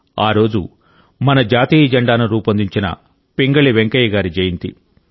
ఆ రోజు మన జాతీయ జెండాను రూపొందించిన పింగళి వెంకయ్య గారి జయంతి